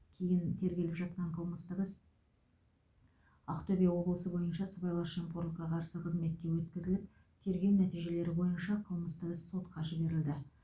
кейін тергеліп жатқан қылмыстық іс ақтөбе облысы бойынша сыбайлас жемқорлыққа қарсы қызметке өткізіліп тергеу нәтижелері бойынша қылмыстық іс сотқа жіберілді